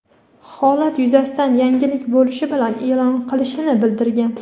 holat yuzasidan yangilik bo‘lishi bilan e’lon qilinishini bildirgan.